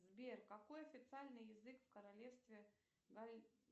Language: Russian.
сбер какой официальный язык в королевстве